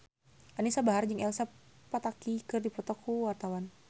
Anisa Bahar jeung Elsa Pataky keur dipoto ku wartawan